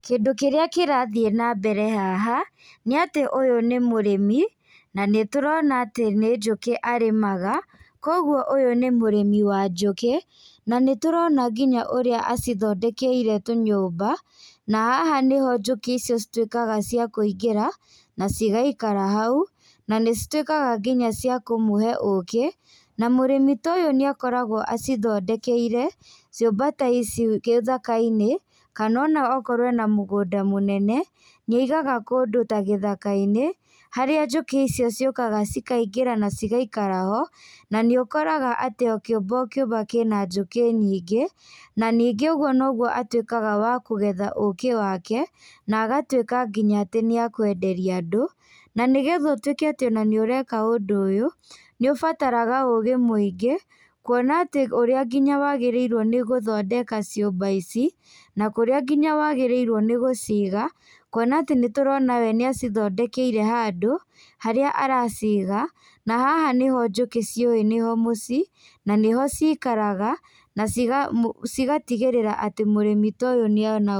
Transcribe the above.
Kindũ kĩrĩa kĩrathiĩ na mbere haha, nĩ atĩ ũyũ nĩ mũrĩmi na nĩtũrona atĩ nĩ njũkĩ arĩmaga, kogũo ũyũ nĩ mũrimi wa njũkĩ na nĩ tũrona nginya ũrĩa acithondekeire tũnyũmba, na haha nĩho njũkĩ icio citwĩkaga cia kũingĩra na cigaikara hau, na nĩcitwĩkaga nginya ciakũmũhe ũkĩ, na mũrĩmi ta ũyũ nĩakoragwo acithondekeire ciũmba ta ici gĩthaka-inĩ, kana ona korwo ena mũgũnda mũnene nĩ aigaga kũndũ ta gĩthaka-inĩ, harĩa njũkĩ icio ciũkaga cikaingĩra na cigaikara ho, na nĩ ũkoraga atĩ o kĩũmba o kĩũmba kina njũkĩ nyingĩ na ningĩ ogũo atwĩkaga wa kugetha ũkĩ wake na agatwĩka nginya atĩ nĩekwenderia andũ, na nĩgetha ũtwĩke atĩ nĩũreka ũndũ ũyũ nĩũbataraga ũgĩ mũingĩ, kũona ũrĩa nginya wagĩrĩrwo nĩgũthondeka ciũmba ici, na kũrĩa wagĩrĩrwo nĩ gũciga kũona atĩ nĩtũrona we nĩ acithondekeire handũ harĩa araciga, na haha niho njũkĩ ciũĩ nĩho mũciĩ na nĩho cikaraga na cigatigĩrĩra atĩ mũrĩmi ta ũyũ nĩ ona.